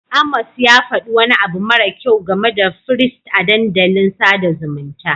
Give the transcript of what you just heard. Amos ya faɗi wani abu mara kyau game da firist a dandalin sada zumunta.